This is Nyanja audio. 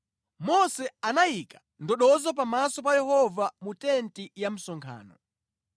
Mose anayika ndodozo pamaso pa Yehova mu tenti ya msonkhano.